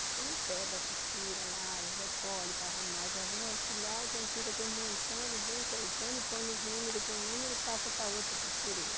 Você não pega a costura lá e recolhe para arrumar, já vem auxiliar e quando fica aquele montão, ele vem cortando e pondo os números com números e passa para outra costureira.